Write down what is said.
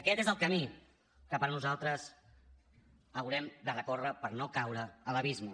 aquest és el camí que per nosaltres haurem de recórrer per no caure a l’abisme